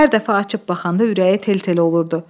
Hər dəfə açıb baxanda ürəyi tel-tel olurdu.